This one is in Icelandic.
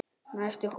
Næstur holu